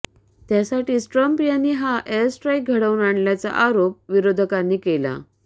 त्यासाठीच ट्रम्प यांनी हा एअरस्ट्राईक घडवून आणल्याचा आरोप विरोधकांनी केला